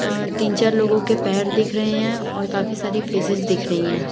तीन चार लोगों के पैर दिख रहे हैं और काफी सारी फिशेस दिख रही है।